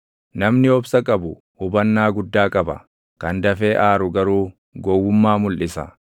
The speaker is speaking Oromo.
Namni obsa qabu hubannaa guddaa qaba; kan dafee aaru garuu gowwummaa mulʼisa.